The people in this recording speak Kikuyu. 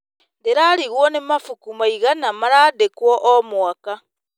Ndĩrarigwo nĩ mabuku maigana marandĩkwo o mwaka.